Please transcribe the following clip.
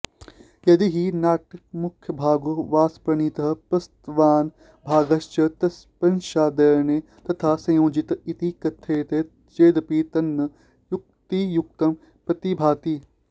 यदि हि नाटकमुख्यभागो भासप्रणीतः प्रस्तावनाभागश्च पश्चादन्येन तथा संयोजित इति कथ्यते चेदपि तन्न युक्तियुक्तं प्रतिभाति